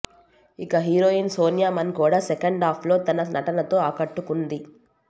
ఇక హీరోయిన్ సోనియా మన్ కూడా సెకాండాఫ్లో తన నటనతో ఆకట్టుకుంది